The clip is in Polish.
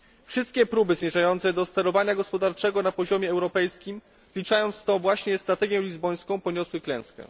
Wszystkie próby zmierzające do sterowania gospodarczego na poziomie europejskim, wliczając w to właśnie strategię lizbońską, poniosły klęskę.